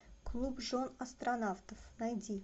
клуб жен астронавтов найди